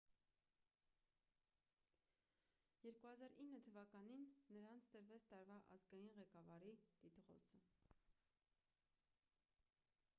2009 թվականին նրան տրվեց տարվա ազգային ղեկավարի տիտղոսը